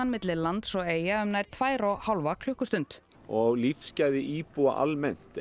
milli lands og Eyja um nær tvær og hálfa klukkustund og lífsgæði íbúa almennt